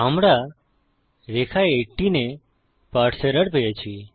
আমরা রেখা 18 এ পারসে এরর পেয়েছি